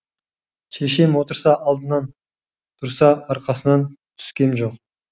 шешем отырса алдынан тұрса арқасынан түскем жоқ